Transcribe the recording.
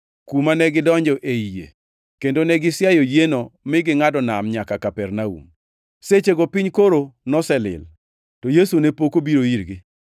kuma negidonjo ei yie, kendo ne gisiayo yieno mi gingʼado nam nyaka Kapernaum. Sechego piny koro noselil, to Yesu ne pok obiro irgi.